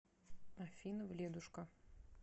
афина вледушка